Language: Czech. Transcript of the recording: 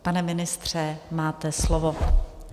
Pane ministře, máte slovo.